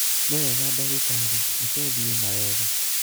nĩwega ndagĩtarĩ, reke thiĩ na wega